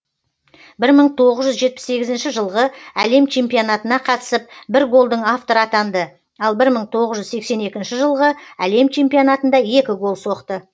бір мың тоғыз жүз жетпіс сегізінші жылғы әлем чемпионатына қатысып бір голдың авторы атанды ал бір мың тоғыз жүз сексен екінші жылғы әлем чемпионатында екі гол соқты